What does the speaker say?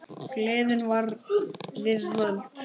Gleðin var við völd.